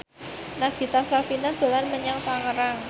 Nagita Slavina dolan menyang Tangerang